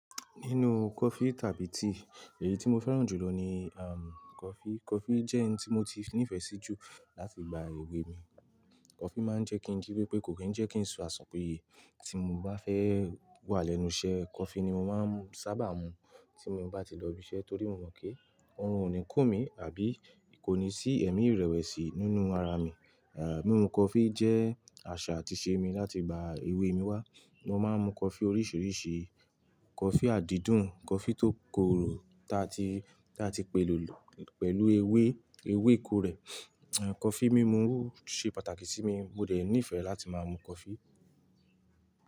Nínú coffee tàbí tea, èyí tí mo fẹ́ràn jù lọ ni um coffee. Coffee jẹ́ ohun tí mo ti nífẹ̀ẹ́ sí jù láti igba ewé mi. Coffee máa ń jẹ́ kí n jípé pé kò kí ń jẹ́ kí n sun àsunpiye. Tí mo bá fẹ́ wà lẹ́nu iṣẹ́, coffee ni mo máa ń sábà mu tí mo bá ti lọ ibi iṣẹ́ torí mo mọ̀ pé òrun ò ní kun mi àbí kò ní sí ẹ̀mí ìrẹ̀wẹ̀sì nínú ara mi. À mímu coffee jẹ́ àṣà àti ìṣe mi láti gba ewé mi wá. Mo máa ń mu coffee oríṣìíríṣìí, coffee àdídùn, coffee tó korò ta ti, ta ti pèlò pẹ̀lú ewé, ewé kórè. Coffee mímu ṣe pàtàkì sí mi, mo dẹ̀ nífẹ̀ẹ́ láti máa mu coffee.